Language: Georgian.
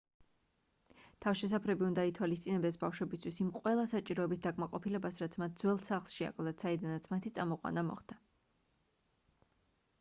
თავშესაფრები უნდა ითვალისწინებდეს ბავშვებისთვის იმ ყველა საჭიროების დაკმაყოფილებას რაც მათ ძველ სახლში აკლდათ საიდანაც მათი წამოყვანა მოხდა